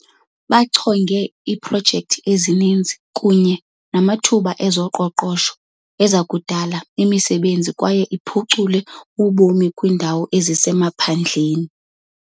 Bachonge iiprojekthi ezininzi kunye namathuba ezoqoqosho azakudala imisebenzi kwaye aphucule ubomi kwiindawo ezisemaphandleni.